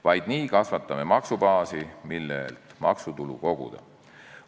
Vaid nii kasvatame maksubaasi, millelt maksutulu koguda.